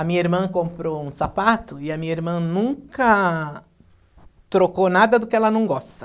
A minha irmã comprou um sapato e a minha irmã nunca trocou nada do que ela não gosta.